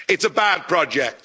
It's a bad project.